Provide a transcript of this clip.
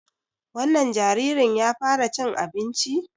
Wannan jaririn ya fara cin abinci?